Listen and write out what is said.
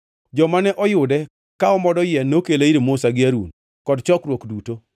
Joma ne oyude ka omodo yien nokele ir Musa gi Harun kod chokruok duto,